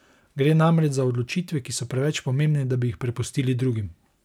Gre namreč za odločitve, ki so preveč pomembne, da bi jih prepustili drugim!